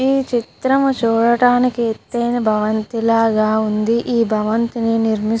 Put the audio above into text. ఈ చిత్రం చూడడానికి ఎత్తు ఆయన భవంతి లగా ఉంది. ఈ బ్భావంతిని నిరిమిస్తున --